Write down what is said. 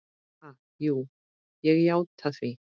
Ha, jú ég játti því.